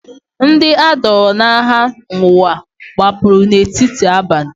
Ndị a dọọrọ n’agha n’ụwa gbapụrụ n’etiti abalị.